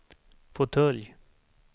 fåtölj